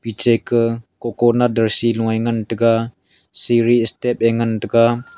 eche ka coconut darsi lo ngan taga siri step e ngan taga.